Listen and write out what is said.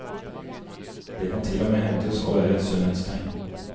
Det kan til og med hevdes å være et sunnhetstegn.